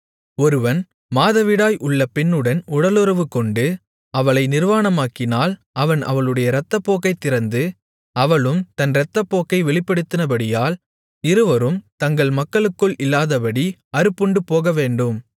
ஒருவன் மாதவிடாய் உள்ள பெண்ணுடன் உடலுறவுகொண்டு அவளை நிர்வாணமாக்கினால் அவன் அவளுடைய இரத்தப்போக்கைத் திறந்து அவளும் தன் இரத்தப்போக்கை வெளிப்படுத்தினபடியால் இருவரும் தங்கள் மக்களுக்குள் இல்லாதபடி அறுப்புண்டுபோகவேண்டும்